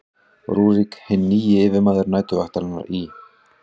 rúrík hinn nýji yfirmaður næturvaktarinnar í